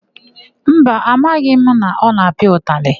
Mba, amaghị m na ọ na-apịa ụtalị.